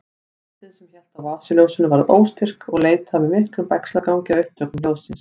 Höndin sem hélt á vasaljósinu var óstyrk og leitaði með miklum bægslagangi að upptökum hljóðsins.